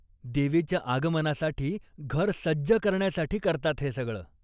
देवीच्या आगमनासाठी घर सज्ज करण्यासाठी करतात हे सगळं.